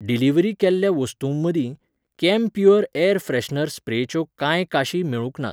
Delivery केल्ल्या वस्तूंमदीं कॅम्प्युअर ऍर फ्रॅशनर स्प्रेच्यो कांय काशी मेळूंक नात.